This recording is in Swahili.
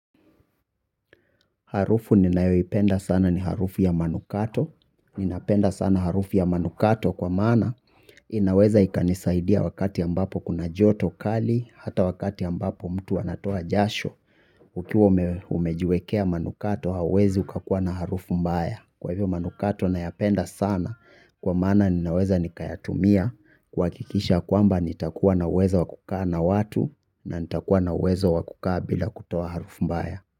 Harufu ninayoipenda sana ni harufu ya manukato. Ninapenda sana harufu ya manukato kwa maana inaweza ikanisaidia wakati ambapo kuna joto kali, hata wakati ambapo mtu anatoa jasho. Ukiwa umejiwekea manukato hauwezi ukakuwa na harufu mbaya. Kwa hivyo manukato nayapenda sana kwa maana ninaweza nikayatumia kuhakikisha kwamba nitakuwa na uwezo wa kukaa na watu na nitakuwa na uwezo wa kukaa bila kutoa harufu mbaya.